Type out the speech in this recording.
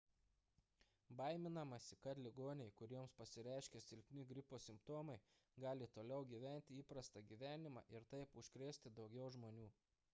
baiminamasi kad ligoniai kuriems pasireiškia silpni gripo simptomai gali toliau gyventi įprastą gyvenimą ir taip užkrėsti daugiau žmonių